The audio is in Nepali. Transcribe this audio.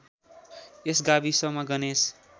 यस गाविसमा गणेश